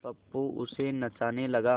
गप्पू उसे नचाने लगा